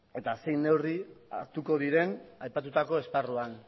eta zein neurri hartuko diren aipatutako esparruan